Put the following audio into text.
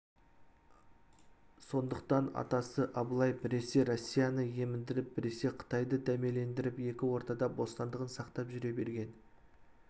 сондықтан атасы абылай біресе россияны еміндіріп біресе қытайды дәмелендіріп екі ортада бостандығын сақтап жүре берген